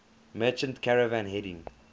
merchant caravan heading